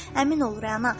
Əmin ol, Rəna.